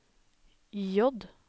J